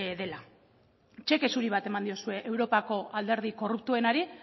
dela txeke zuri bat eman diozue europako alderdi korruptuenari